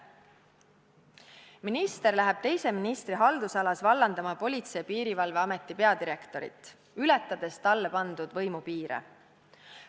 Minister läheb teise ministri haldusalas vallandama Politsei- ja Piirivalveameti peadirektorit, ületades talle pandud võimupiire.